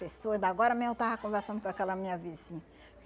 Pessoa, da agora mesmo eu estava conversando com aquela minha vizinha.